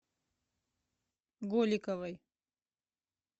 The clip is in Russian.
голиковой